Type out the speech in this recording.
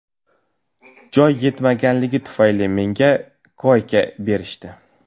Joy yetmaganligi tufayli, menga koyka berishdi.